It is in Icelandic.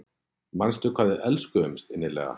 Manstu hvað við elskuðumst innilega?